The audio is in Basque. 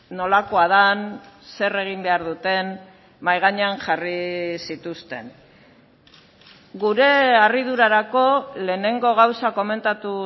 nolakoa den zer egin behar duten mahai gainean jarri zituzten gure harridurarako lehenengo gauza komentatu